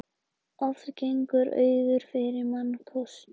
Oft gengur auður fyrir mannkostum.